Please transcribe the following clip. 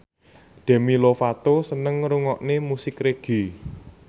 Demi Lovato seneng ngrungokne musik reggae